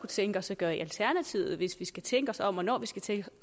tænke os at gøre i alternativet hvis vi skal tænke os om og når vi skal tænke